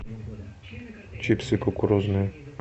чипсы кукурузные